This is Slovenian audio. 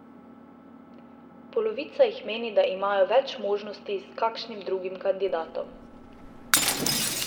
Polovica jih meni, da imajo več možnosti s kakšnim drugim kandidatom.